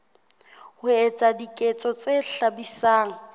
ho etsa diketso tse hlabisang